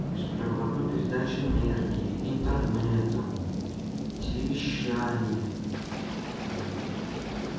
беспроводной передачи энергии интернета телевещания